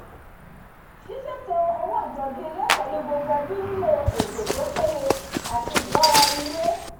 sísètò owó ìtọ́jú ilé pẹ̀lú gbogbo ẹbí nílò ètò tó péye àti ìgbóra eni yé